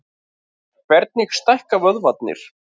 Hvernig stækka vöðvarnir?